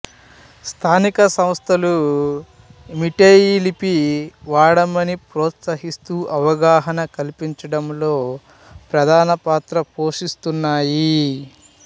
స్థానిక సంస్థలు మీటేయ్ లిపి వాడమని ప్రోత్సహిస్తూ అవగాహన కల్పించడంలో ప్రధానమైన పాత్ర పోషిస్తున్నాయి